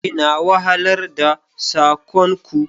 Ina wahalar da sakon ku.